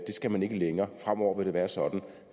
skal man ikke længere fremover vil det være sådan